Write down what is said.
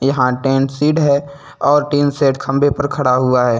यहाँ टेन सीड है और टीन शेड खंभे पर खड़ा हुआ है।